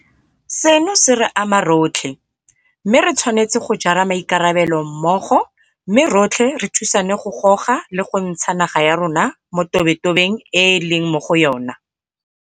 Seno se re ama rotlhe, mme re tshwanetse go jara maikarabelo mmogo mme rotlhe re thusane go goga le go ntsha naga ya rona mo tobetobeng e e leng mo go yona.